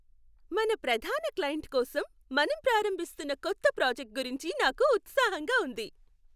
మన ప్రధాన క్లయింట్ కోసం మనం ప్రారంభిస్తున్న కొత్త ప్రాజెక్ట్ గురించి నాకు ఉత్సాహంగా ఉంది.